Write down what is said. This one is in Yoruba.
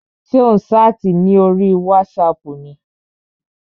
Ṣé ò ń ṣáàtì ní orí wátísapù ni?